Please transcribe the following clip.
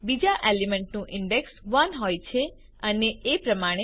બીજા એલિમેન્ટનું ઇન્ડેક્સ 1 હોય છે અને એ પ્રમાણે